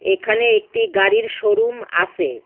এখানে একটি গাড়ির শোরুম আসে।